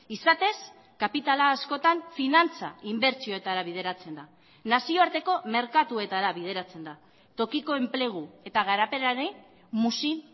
izatez kapitala askotan finantza inbertsioetara bideratzen da nazioarteko merkatuetara bideratzen da tokiko enplegu eta garapenari muzin